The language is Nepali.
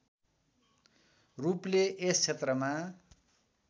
रूपले यस क्षेत्रमा